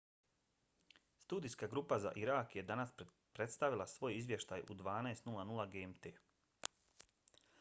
studijska grupa za irak je danas predstavila svoj izvještaj u 12.00 gmt